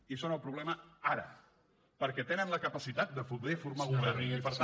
i són el problema ara perquè tenen la capacitat de poder formar govern i per tant